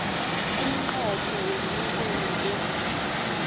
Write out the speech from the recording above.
umnqopho womnikelo lo